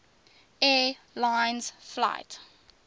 air lines flight